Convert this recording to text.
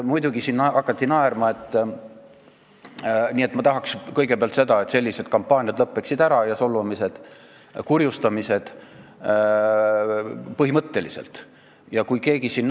Nii et ma tahaks kõigepealt seda, et sellised kampaaniad, solvamised ja kurjustamised põhimõtteliselt lõppeksid.